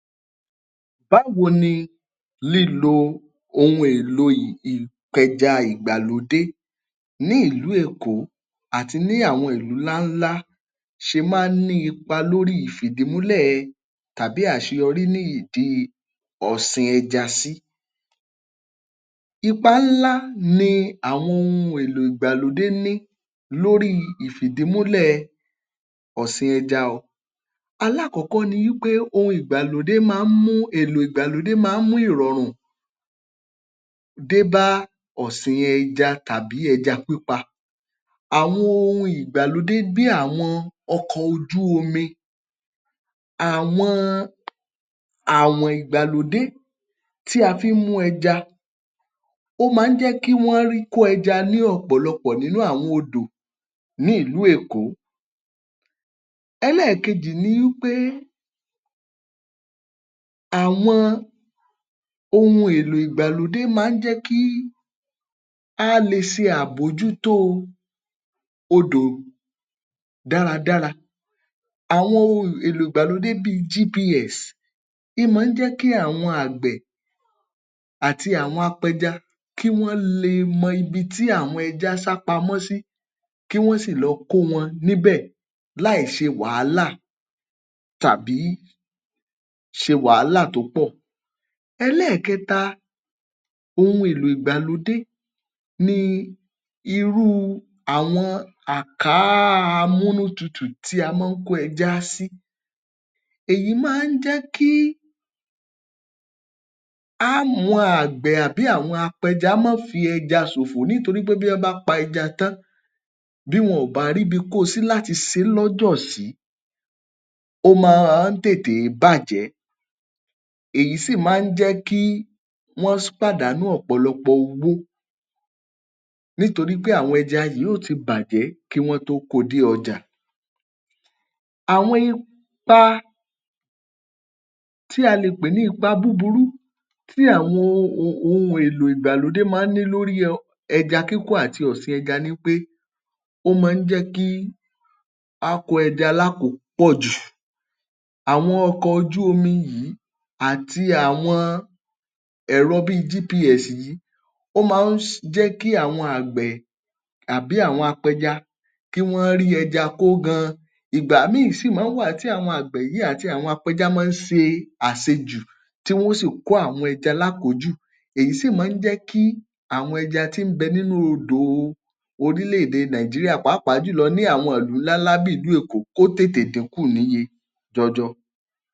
Báwo ni lílo ohun-èlò ìpẹja ìgbàlódé ní ìlú Èkó àti ní àwọn ìlú ńláńlá ṣe máa ń ní ipa lórí ìfìdímúlẹ̀ tàbí àṣeyọrí ní ìdí ọ̀sìn ẹja sí. Ipa ńlá ni àwọn ohun-èlò ìgbàlódé ní lórí ìfìdímúlẹ̀ ọ̀sìn ẹja o. Alákọ̀ọ́kọ́ ni wí pé, ohun ìgbàlódé máa ń mú, èlò ìgbàlódé máa ń mú ìrọ̀rùn dé bá ọ̀sìn ẹja tàbí ẹja pípa. Àwọn ohun ìgbàlódé bí àwọn ọkọ̀ ojú omi, àwọn àwọ̀n ìgbàlódé tí a fi ń mú ẹja, ó máa ń jẹ́ kí wọ́n rí kó ẹja ní ọ̀pọ̀lọpọ̀ nínú àwọn odò ní ìlú Èkó. Ẹlẹ́ẹ̀kejì ni wí pé àwọn ohun èlò ìgbàlódé máa ń jẹ́ kí á le ṣe àbójútó odò dáradára. Àwọn ohun-èlò ìgbàlódé bíi GPS in máa ń jẹ́ kí àwọn àgbẹ̀ àti àwọn apẹja kí wọ́n le mọ ibi tí àwọn ẹja sápamọ́ sí, kí wọ́n sì lọ kó wọn níbẹ̀ láìṣe wàhálà tàbí ṣe wàhálà tó pọ̀. Ẹlẹ́ẹ̀kẹta ohun-èlò ìgbàlódé ni irú àwọn àkáa amúnútutù tí a máa ń kó ẹja á sí. Èyí máa ń jẹ́ kí á mọ àgbẹ̀ àbí àwọn apẹja má fi ẹja ṣòfò nítorí pé bí wọ́n bá pa ẹja tán, bí wọn ò bá ríbi kó o sí láti ṣe é lọ́jọ̀ sí, ó máa ń tètè é bàjẹ́. Èyí sì máa ń jẹ́ kí wọ́n pàdánù ọ̀pọ̀lọpọ̀ owó nítorí pé àwọn ẹja yìí ó ti bàjẹ́ kí wọ́n tó kó o dé ọjà. Àwọn ipa tí a lè pè ní ipa búburú tí àwọn ohun-èlò um ìgbàlódé máa ń ní lórí ẹja kíkó àti ọ̀sìn ẹja ni pé, ó máa ń jẹ́ kí á kó ẹja lákòópọ̀jù. Àwọn ọkọ̀ ojú omi yìí àti àwọn ẹ̀rọ bíi GPS yìí ó máa ń jẹ́ kí àwọn àgbẹ̀ àbí àwọn apẹja kí wọ́n rí ẹja kó gan-an. Ìgbà míì sì máa ń wà tí àwọn àgbẹ̀ yìí àti àwọn apẹja máa ń ṣe àṣejù tí wọ́n ó sì kó àwọn ẹja lákòójù. Èyí sì máa ń jẹ́ kí àwọn ẹja tí ń bẹ nínú odò orílẹ̀-èdè Nàìjíríà pàápàá jùlọ ní àwọn ìlú ńláńlá bí ìlú Èkó kó tètè dínkù níye jọjọ.